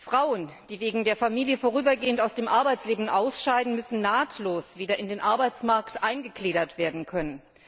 Frauen, die wegen der Familie vorübergehend aus dem Arbeitsleben ausscheiden, müssen nahtlos wieder in den Arbeitsmarkt eingegliedert werden können.